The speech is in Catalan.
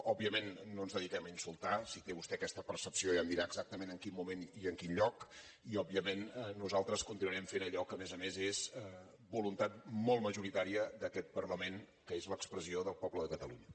òbviament no ens dediquem a insultar si té vostè aquesta percepció ja em dirà exactament en quin moment i en quin lloc i òbviament nosaltres continuarem fent allò que a més a més és voluntat molt majoritària d’aquest parlament que és l’expressió del poble de catalunya